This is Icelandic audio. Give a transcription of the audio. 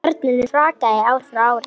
Barninu hrakaði ár frá ári.